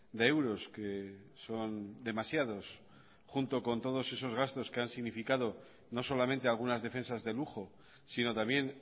de euros que son demasiados junto con todos esos gastos que han significado no solamente algunas defensas de lujo sino también